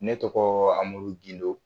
Ne tɔgɔ Amadu Gindo